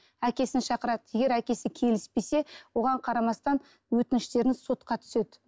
әкесін шақырады егер әкесі келіспесе оған қарамастан өтініштеріңіз сотқа түседі